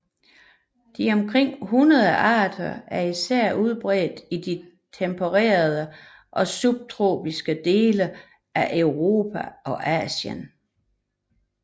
De omkring 100 arter er især udbredt i de tempererede og subtropiske dele af Europa og Asien